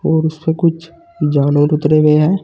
और उसपे कुछ जानवर उतरे गए है।